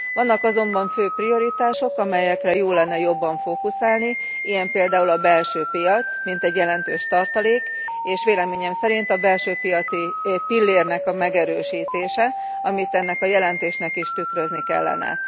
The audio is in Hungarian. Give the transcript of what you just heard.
Vannak azonban fő prioritások, amelyekre jó lenne jobban fókuszálni, ilyen például a belső piac, mint egy jelentős tartalék, és véleményem szerint a belső piaci pillérnek a megerősítése, amit ennek a jelentésnek is tükrözni kellene.